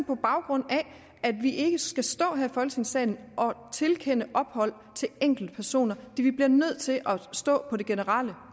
på baggrund af at vi ikke skal stå her i folketingssalen og tilkende ophold til enkeltpersoner vi bliver nødt til at stå på det generelle